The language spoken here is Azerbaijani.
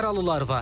Yaralılar var.